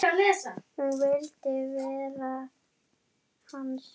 Hún vildi verða hans.